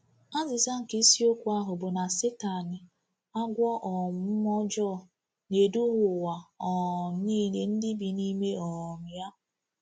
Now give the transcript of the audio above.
Azịza nke Isiokwu ahụ bụ na Satani, Agwọ um Mmụọ Ọjọọ, “na-eduhie ụwa um niile ndị bi n’ime um ya.”